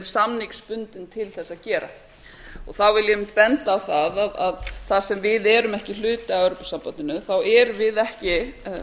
samningsbundin til að gera þá vil ég aðeins benda á að þar sem við erum ekki hluti af evrópusambandinu þá erum við ekki